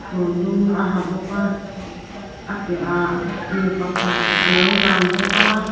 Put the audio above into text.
kawr dum a ha bawka a piahah mipakhat alo lang bawk a.